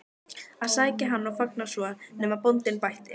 að sækja hann og fanga svo, nema bóndinn bætti.